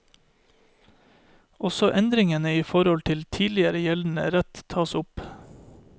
Også endringene i forhold til tidligere gjeldende rett tas opp.